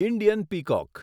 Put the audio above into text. Indian peacock